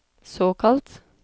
såkalt